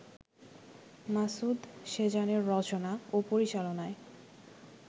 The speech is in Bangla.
মাসুদ সেজানের রচনা ও পরিচালনায়